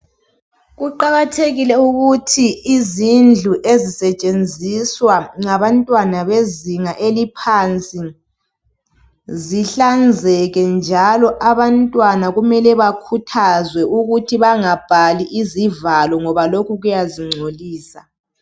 Kuqakathekile ukuthi izindlu ezisetshenziswa ngabantwana bezinga eliphansi zihlanzeke njalo abantwana kumele bakhuthazwe ukuthi bangabhali izivalo ngoba lokhu kuyazingcolisa